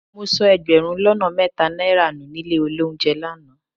Mo sọ ẹgbẹ̀rún lọ́nà mẹ́ta náírà nù nílé olóunjẹ lánàá